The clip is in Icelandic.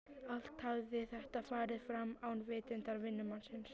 Allt hafði þetta farið fram án vitundar vinnumannsins.